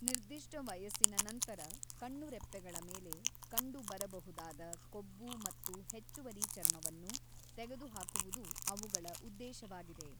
ನಿರ್ದಿಷ್ಟ ವಯಸ್ಸಿನ ನಂತರ ಕಣ್ಣುರೆಪ್ಪೆಗಳ ಮೇಲೆ ಕಂಡುಬರಬಹುದಾದ ಕೊಬ್ಬು ಮತ್ತು ಹೆಚ್ಚುವರಿ ಚರ್ಮವನ್ನು ತೆಗೆದುಹಾಕುವುದು ಅವುಗಳ ಉದ್ದೇಶವಾಗಿದೆ.